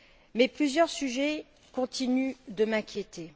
Mais plusieurs sujets continuent de m'inquiéter.